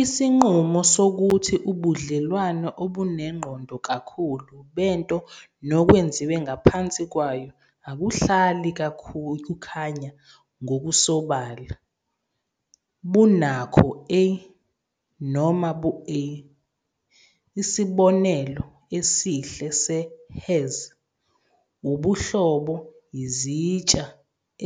Isinqumo sokuthi ubudlelwane obunengqondo kakhulu bento nokwenziwe ngaphansi kwayo akuhlali kukhanya ngokusobala "bunakho-a" noma "bu-a". Isibonelo esihle se- "has-" ubuhlobo yizitsha